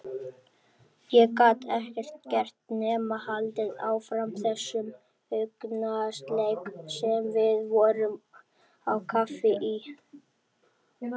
Ég gat ekkert gert nema haldið áfram þessum augnasleik sem við vorum á kafi í.